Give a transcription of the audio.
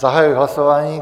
Zahajuji hlasování.